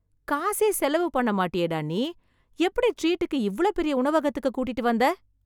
காசே செலவு பண்ண மாட்டியேடா நீ, எப்படி ட்ரீடுக்கு இவ்வளவு பெரிய உணவகத்துக்கு கூட்டிட்டு வந்த